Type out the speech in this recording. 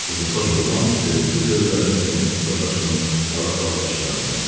Uzunsaç oğlan göyümtül gözlərini dirəmişdi Dadaşovun ağappaq dişlərinə.